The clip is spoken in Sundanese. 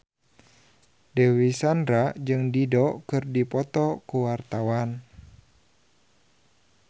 Dewi Sandra jeung Dido keur dipoto ku wartawan